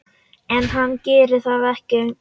En hann gerir það ekki.